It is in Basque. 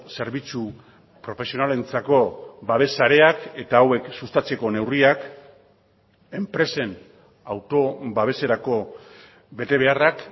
zerbitzu profesionalentzako babes sareak eta hauek sustatzeko neurriak enpresen auto babeserako betebeharrak